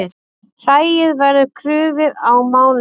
Hræið verður krufið á mánudag